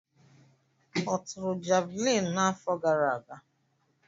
Ọ tụrụ javuliini n'afọ gara aga?